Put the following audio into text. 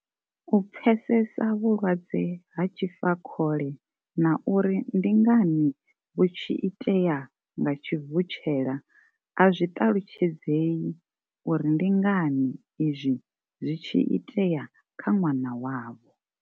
U pfesesa vhulwadze ha tshifakhole na uri ndi ngani vhu tshi itea nga tshivutshela a zwi ṱalutshedzeyi uri ndi ngani izwi zwi tshi itea kha ṅwana wavho.